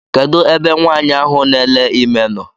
Kedụ ebe nwaanyị ahụ na ele ime nọ?